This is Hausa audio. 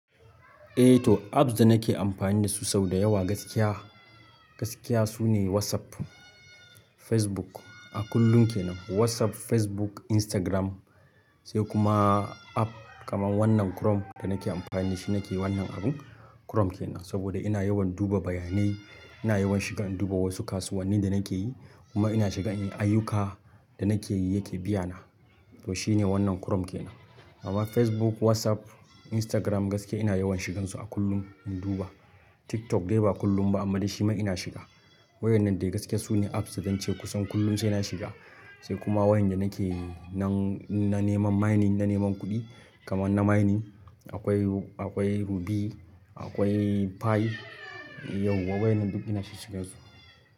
Eh to, apps da nake amfani da su sau da yawa gaskiya, gaskiya sune WhatsApp, Facebook a kullum kenan. WhatsApp, Facebook, Instagram sai kuma app kamar wannan Chrome da nake amfani da shi, nake wannan abun Chrome kenan. Saboda ina yawan duba bayanai, ina yawan shiga in duba wasu kasuwanni da nake yi kuma ina shiga in yi ayyuka da nake yi yake biya na. To shine wannan Chrome kenan. Amma Facebook, WhatsApp, Instagram gaskiya ina yawan shigansu a kullum in duba. TikTok dai ba kullum ba amma dai shi ma ina shiga. Waƴannan dai gaskiya sune apps da zan ce kusan kullum sai na shiga, sai kuma waƴan da nake nan na neman mining, na neman kuɗi kamar na mining. Akwai, akwai Rubi, akwai Pie. Yau wa waƴannan duk ina shigan su.